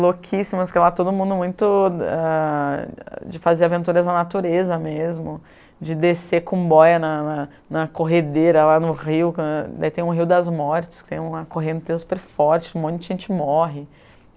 louquíssimas, porque lá todo mundo muito ah... de fazer aventuras na natureza mesmo, de descer com boia na na na corredeira lá no rio, daí tem um rio das mortes, que tem uma correnteza super forte, um monte de gente morre.